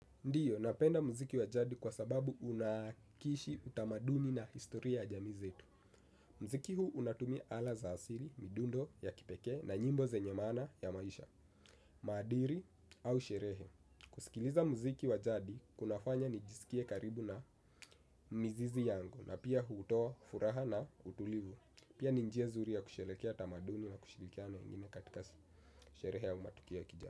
Ndiyo, napenda muziki wa jadi kwa sababu unakishi utamaduni na historia ya jamii zetu. Muziki huu unatumia ala za asili, midundo ya kipekee na nyimbo zenye maana ya maisha maadili au sherehe kusikiliza muziki wa jadi kunafanya nijisikie karibu na mizizi yangu na pia hutoa furaha na utulivu pia ni njia zuri ya kusherehekea tamaduni na kushirikiana na wengine katika sherehe au matukio ya kijamii.